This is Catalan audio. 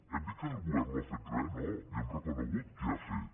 hem dit que el govern no ha fet res no li hem reconegut què ha fet